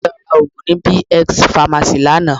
Àǹtí mi lọ ra òògùn ní B-X pharmacy lánàá